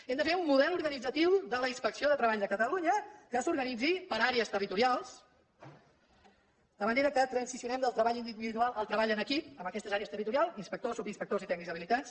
hem de fer un model organitzatiu de la inspecció de treball de catalunya que s’organitzi per àrees territorials de manera que transicionem del treball individual al treball en equip en aquestes àrees territorials inspectors subinspectors i tècnics habilitats